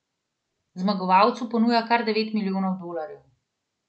Zmagovalcu ponuja kar devet milijonov dolarjev.